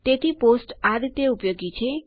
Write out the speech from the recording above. તેથી પોસ્ટ આ રીતે ઉપયોગી છે